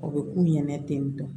O bɛ k'u ɲinɛ ten tɔ